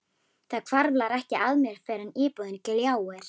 Það hvarflar ekki að mér fyrr en íbúðin gljáir.